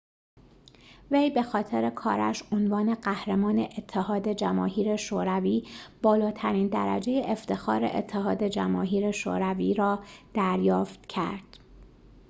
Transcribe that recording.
وی بخاطر کارش عنوان قهرمان اتحاد جماهیر شوروی بالاترین درجه افتخار اتحاد جماهیر شوروی را دریافت کرد